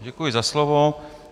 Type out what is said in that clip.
Děkuji za slovo.